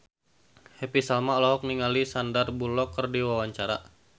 Happy Salma olohok ningali Sandar Bullock keur diwawancara